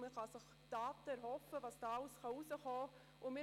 Von diesen lassen sich Daten dazu erhoffen, was dabei alles herausschauen kann.